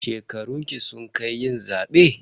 Shekarunki sun kai yin zaɓe?